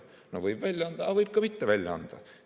No võib välja anda, aga võib ka mitte välja anda.